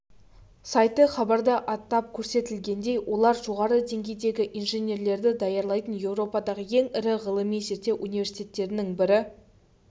сайты хабарда атап көрсетілгендей олар жоғары деңгейдегі инженерлерді даярлайтын еуропадағы ең ірі ғылыми-зерттеу университтеттерінің бірі